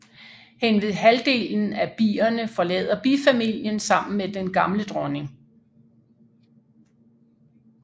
Henved halvdelen af bierne forlader bifamilien sammen med den gamle dronning